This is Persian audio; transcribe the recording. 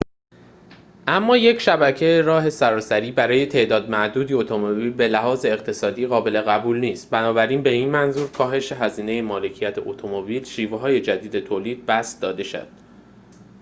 اما یک شبکه راه سراسری برای تعداد معدودی اتومبیل به لحاظ اقتصادی قابل قبول نیست بنابراین به منظور کاهش هزینه مالکیت اتومبیل شیوه‌های جدید تولید بسط داده شد